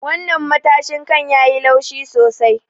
Wannan matashin kan yayi laushi sosai.